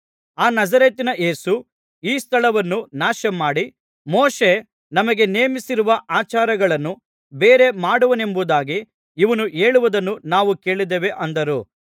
ಆ ನಜರೇತಿನ ಯೇಸು ಈ ಸ್ಥಳವನ್ನು ನಾಶಮಾಡಿ ಮೋಶೆ ನಮಗೆ ನೇಮಿಸಿರುವ ಆಚಾರಗಳನ್ನು ಬೇರೆ ಮಾಡುವನೆಂಬುದಾಗಿ ಇವನು ಹೇಳುವುದನ್ನು ನಾವು ಕೇಳಿದ್ದೇವೆ ಅಂದರು